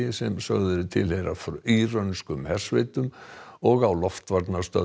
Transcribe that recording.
sem sögð eru tilheyra írönskum hersveitum og á